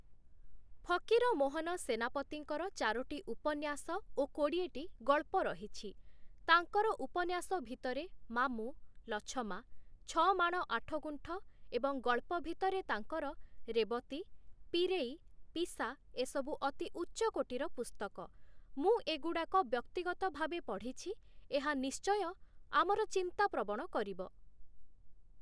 ଫକୀରମୋହନ ସେନାପତିଙ୍କର ଚାରୋଟି ଉପନ୍ୟାସ ଓ କୋଡ଼ିଏଟି ଗଳ୍ପ ରହିଛି । ତାଙ୍କର ଉପନ୍ୟାସ ଭିତରେ ମାମୁଁ ଲଛମା, ଛ ମାଣ ଆଠଗୁଣ୍ଠ ଏବଂ ଗଳ୍ପ ଭିତରେ ତାଙ୍କର ରେବତୀ, ପିରେଇ, ପିସା ଏସବୁ ଅତି ଉଚ୍ଚକୋଟୀର ପୁସ୍ତକ । ମୁଁ ଏଗୁଡ଼ାକ ବ୍ୟକ୍ତିଗତ ଭାବେ ପଢ଼ିଛି, ଏହା ନିଶ୍ଚୟ ଆମର ଚିନ୍ତା ପ୍ରବଣ କରିବ ।